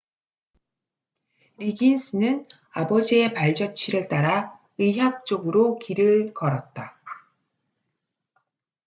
리긴스는 아버지의 발자취를 따라 의학 쪽으로 길을 걸었다